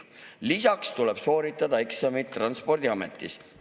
Lisaks tuleb sooritada eksamid Transpordiametis.